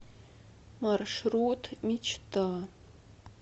маршрут мечта